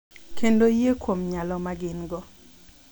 Kendo yie kuom nyalo ma gin-go.